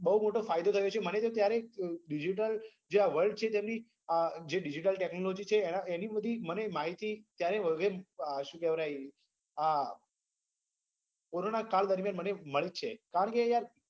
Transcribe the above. બહુ મોટો ફાયદો થયો છે મને તો ત્યારે digital જે આ world છે તેની જે digital technology છે એની બધી મને માહિતી શું કેવરાય આ કોરોના કાલ દરમિયાન મને મળી છે કારણ કે યાર